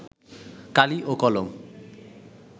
কালি ও কলম